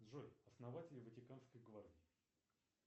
джой основатель ватиканской гвардии